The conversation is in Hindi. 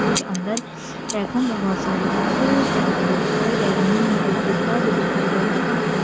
कुछ अंदर रैकों मे बहुत सारी बुक्स टंगी हुई दिखाई दे रही है। एक डिब्बा भी दिखाई दे रहा है।